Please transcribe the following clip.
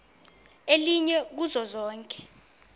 elinye kuzo zonke